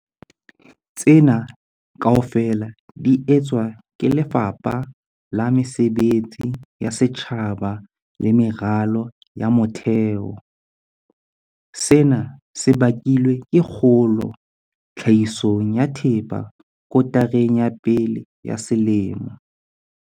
Tsena kaofela di etswa ke Lefapha la Mesebetsi ya Setjhaba le Meralo ya Motheo. Sena se bakilwe ke kgolo tlhahisong ya thepa kotareng ya pele ya selemo.